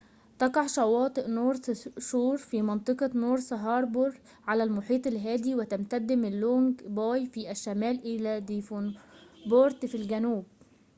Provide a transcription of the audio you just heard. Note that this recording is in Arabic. تقع شواطئ نورث شور في منطقة نورث هاربور على المحيط الهادئ وتمتد من لونج باي في الشمال إلى ديفونبورت في الجنوب